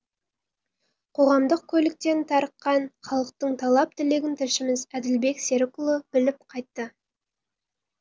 қоғамдық көліктен тарыққан халықтың талап тілегін тілшіміз әділбек серікұлы біліп қайтты